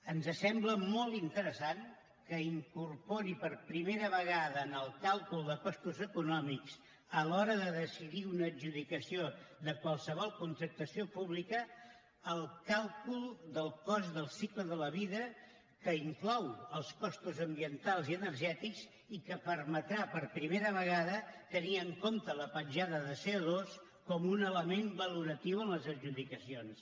ens sembla molt interessant que incorpori per primera vegada en el càlcul de costos econòmics a l’hora de decidir una adjudicació de qualsevol contractació pública el càlcul del cost del cicle de la vida que inclou els costos ambientals i energètics i que permetrà per primera vegada tenir en compte la petjada de coloratiu en les adjudicacions